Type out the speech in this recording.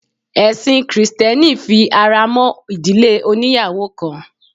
Ẹ̀sin krìstẹ́nì fi ara mọ́ ìdílé oníyàwò kan.